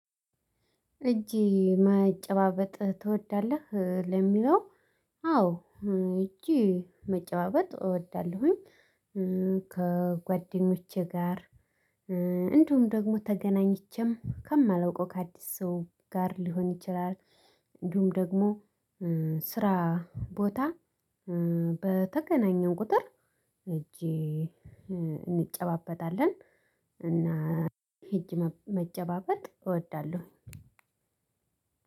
እጅ መጨባበጥ ትወዳለህ ለሚለው? አዎ እጅ መጨባበጥ እወዳለሁኝ። ከጓደኞቼ ጋር እንዲሁም ደግሞ ተገናኝቼም ከማላውቀው ከአዲስ ሰው ጋር ሊሆን ይችላል። እንዲሁም ደግሞ ስራ ቦታ በተገናኘው ቁጥር እጅ እንጨባበጣለን። እና እጅ መጨባበጥ እወዳለሁ።